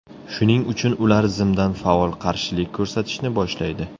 Shuning uchun ular zimdan faol qarshilik ko‘rsatishni boshlaydi.